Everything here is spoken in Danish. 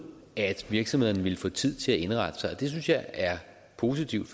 at virksomhederne vil få tid til at indrette sig det synes jeg er positivt